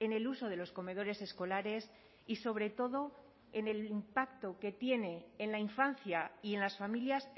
en el uso de los comedores escolares y sobre todo en el impacto que tiene en la infancia y en las familias